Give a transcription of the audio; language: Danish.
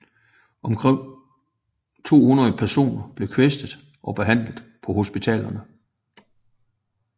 Omkring 200 personer blev kvæstet og behandlet på hospitalerne